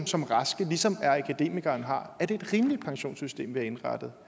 som raske ligesom akademikere har er det et rimeligt pensionssystem vi har indrettet